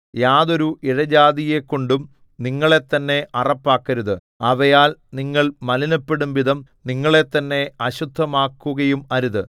യാതൊരു ഇഴജാതിയെക്കൊണ്ടും നിങ്ങളെത്തന്നെ അറപ്പാക്കരുത് അവയാൽ നിങ്ങൾ മലിനപ്പെടുംവിധം നിങ്ങളെത്തന്നെ അശുദ്ധമാക്കുകയും അരുത്